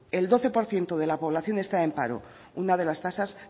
el doce por ciento de la población está en paro una de las tasas